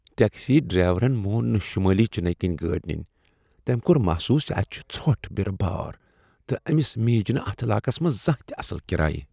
Taxi ڈرایورن مون نہٕ شمٲلی چننے کن گٲڑ ننۍ۔ تٔمۍ کوٚر محسوس اتہ چھ ژھۄٹھ، برٕ بار، تہٕ أمس میج نہٕ اتھ علاقس منٛز زانٛہہ تہ اصل کراے۔